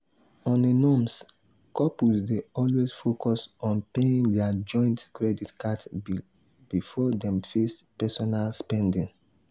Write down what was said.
on a norms couples dey always focus on paying their joint credit card bill before dem face personal spending.